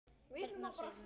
Hérna Sif mín.